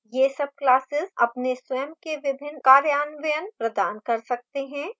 ये subclasses अपने स्वयं के विभिन्न कार्यान्वयन प्रदान कर सकते हैं